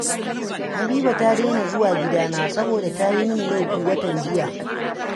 Habiba ta daina zuwa gidana, saboda ta yi mini laifi watan jiya